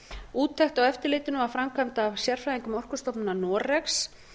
úttekt á eftirlitinu var framkvæmd af sérfræðingum o orkustofnunar noregs